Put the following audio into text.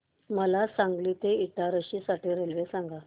मला सांगली ते इटारसी साठी रेल्वे सांगा